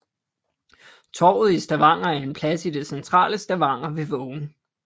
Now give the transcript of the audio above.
Torvet i Stavanger er en plads i det centrale Stavanger ved Vågen